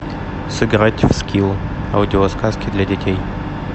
сыграть в скилл аудиосказки для детей